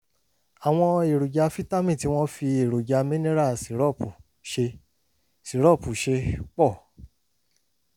àwọn èròjà fítámì tí wọ́n fi èròjà mineral sírópù ṣe sírópù ṣe pọ̀